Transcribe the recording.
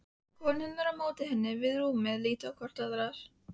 Konurnar á móti henni við rúmið líta hvor á aðra.